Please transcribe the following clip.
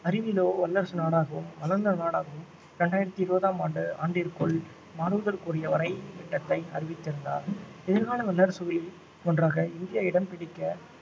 அறிவிலோ வல்லரசு நாடாகவும் வளர்ந்த நாடாகவும் இரண்டாயிரத்து இருபதாம் ஆண்டு ஆண்டிற்குள் மாறுவதற்குரிய வரை திட்டத்தை அறிவித்திருந்தார் எதிர்கால வல்லரசுகளில் ஒன்றாக இந்தியா இடம் பிடிக்க